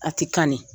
A ti kanni